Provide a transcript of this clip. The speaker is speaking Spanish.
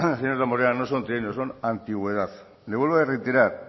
señor damborenea no son trienios son antigüedad le vuelvo a reiterar